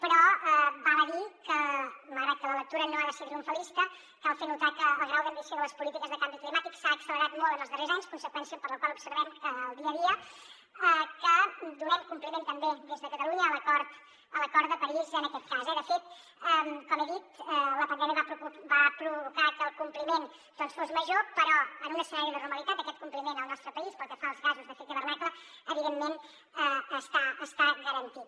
però val a dir que malgrat que la lectura no ha de ser triomfalista cal fer notar que el grau d’ambició de les polítiques de canvi climàtic s’ha accelerat molt en els darrers anys conseqüència per la qual observem en el dia a dia que donem compliment també des de catalunya a l’acord de parís en aquest cas eh de fet com he dit la pandèmia va provocar que el compliment fos major però en un escenari de normalitat aquest compliment al nostre país pel que fa als gasos d’efecte hivernacle evidentment està garantit